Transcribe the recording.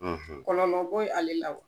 Kɔlɔlɔ bo yen ale wa ?